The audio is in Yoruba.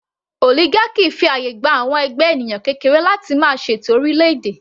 Oligarchy fi àyè gba àwọn ẹgbẹ́ ènìyàn kékeré láti máa ṣètò orílẹ̀ - èdè.